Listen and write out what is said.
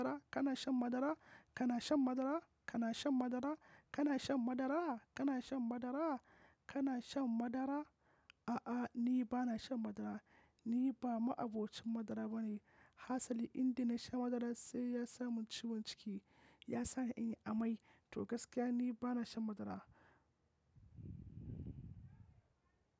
Kana shan madara? Kana shan madara? Kana shan madara? Kana shan madara? Kana shan madara? Kana shan madara? A'a, ni ba na shan madara. Ni ba ma'abocin madara bane. Hasali indai na sha madara sai ya sa mun ciwon ciki, ya sa ni in yi amai. To gaskiya ni ba na shan madara.